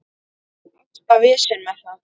Alltaf vesen með það.